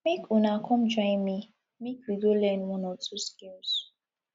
make una come join me make we go learn one or two skills